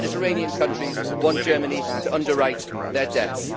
the Mediterranean countries want Germany to underwrite their debts.